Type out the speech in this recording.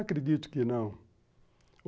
Acredito que não.